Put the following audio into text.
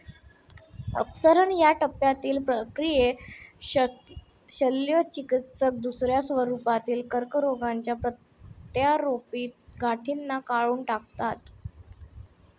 अपसरण ह्या टप्यातील प्रक्रियेत शल्यचिकित्सक दुसऱ्या स्वरुपातील कर्करोगाच्या प्रत्यारोपीत गाठींना काढून टाकातात.